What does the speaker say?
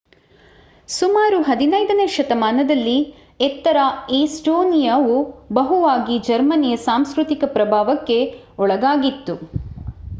ಸುಮಾರು 15 ನೇ ಶತಮಾನದಲ್ಲಿ ಉತ್ತರ ಎಸ್ಟೋನಿಯಾವು ಬಹುವಾಗಿ ಜರ್ಮನಿಯ ಸಾಂಸ್ಕೃತಿಕ ಪ್ರಭಾವಕ್ಕೆ ಒಳಗಾಗಿತ್ತು